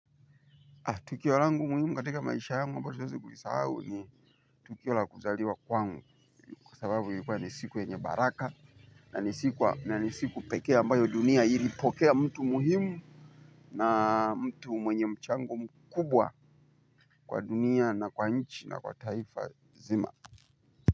Tukio langu muhimu katika maisha yangu ambalo siwezi kulisahu ni tukio la kuzaliwa kwangu. Kwa sababu ilikuwa ni siku yenye baraka na nisiku na ni siku pekee ambayo dunia ilipokea mtu muhimu. Na mtu mwenye mchango mkubwa kwa dunia na kwa nchi na kwa taifa zima.